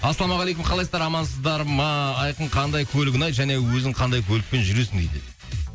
ассалаумағалейкум қалайсыздар амансыздар ма айқын қандай көлік ұнайды және өзің қандай көлікпен жүресің дейді